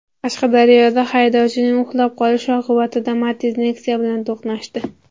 Qashqadaryoda haydovchining uxlab qolishi oqibatida Matiz Nexia bilan to‘qnashdi.